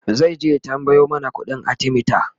zaije ya tambayo mana ƙuɗin arthemeter